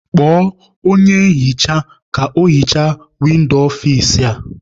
Kpọọ onye nhicha ka o hichaa windo ọfici a!